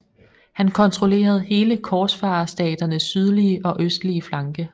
Han kontrollerede hele korsfarerstaternes sydlige og østlige flanke